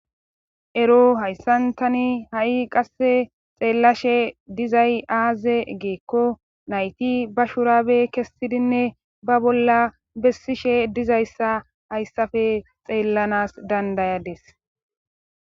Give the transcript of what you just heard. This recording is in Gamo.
ero hayssan tani ha7i qasse xeellashe dizay aaze giikko nayti ba shuraabe kessidinne ba bolla bessishe dizayssa hayssafe xeellanas dandayades.